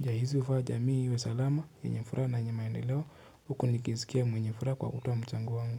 Njia hizi hufanya jamii iwe salama, yenye furaha na yenye maendeleo huku nikijisikia mwenye furaha kwa kutoa mchango wangu.